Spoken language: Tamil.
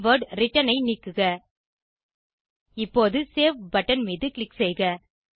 கீவர்ட் ரிட்டர்ன் ஐ நீக்குக இப்போது சேவ் பட்டன் மீது க்ளிக் செய்க